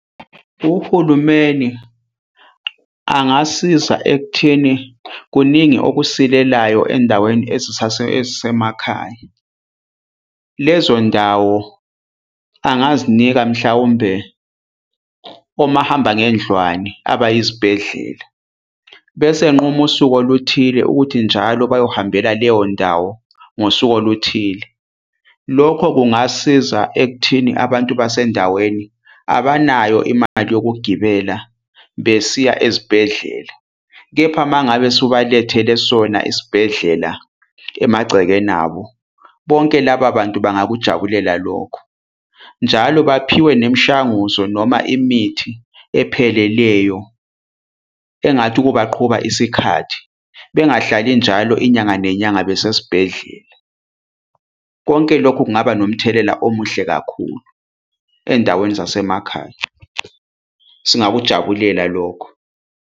Uhulumeni angasiza ekutheni kuningi okusilelayo endaweni ezisemakhaya. Lezo ndawo angazinika mhlawumbe omahambangendlwane abayizibhedlela, bese enquma usuku oluthile ukuthi njalo bayohambela leyo ndawo ngosuku oluthile. Lokho kungasiza ekuthini nabantu basendaweni abanayo imali yokugibela besiya ezibhedlela. Kepha uma ngabe usubalethele sona esibhedlela emagcekeni abo, bonke laba bantu bangakujabulela lokho. Njalo baphiwe nemishanguzo noma imithi epheleleyo, engathi ukubaqhuba isikhathi bengahlali njalo inyanga nenyanga besesibhedlela. Konke loku kungaba nomthelela omuhle kakhulu endaweni zasemakhaya. Singakujabulela lokho.